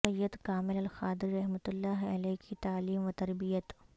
سید کامل القادری رحمت اللہ علیہ کی تعلیم وتربیت